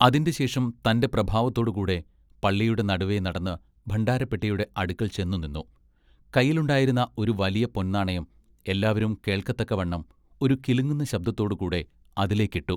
അതിന്റെ ശേഷം തന്റെ പ്രഭാവത്തോടുകൂടെ പള്ളിയുടെ നടുവെ നടന്ന് ഭണ്ഡാരപ്പെട്ടിയുടെ അടുക്കൽ ചെന്നുനിന്നു കയ്യിലുണ്ടായിരുന്ന ഒരു വലിയ പൊൻ നാണയം എല്ലാവരും കേൾക്കത്തക്കവണ്ണം ഒരു കിലുങ്ങുന്ന ശബ്ദത്തോടു കൂടെ അതിലേക്ക് ഇട്ടു.